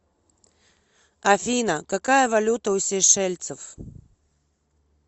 афина какая валюта у сейшельцев